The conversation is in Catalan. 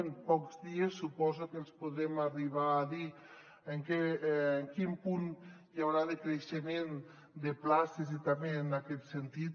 en pocs dies suposo que els podrem arribar a dir en quin punt hi haurà decreixement de places i també en aquest sentit